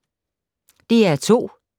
DR2